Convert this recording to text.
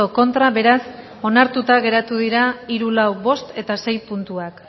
contra beraz onartuta geratu dira hiru lau bost eta sei puntuak